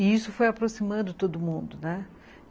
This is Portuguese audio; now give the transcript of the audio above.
E isso foi aproximando todo mundo, né?